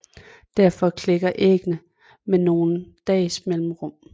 Derfor klækker æggene med nogle dages mellemrum